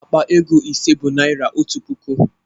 Akpa ego ise bụ naira otu puku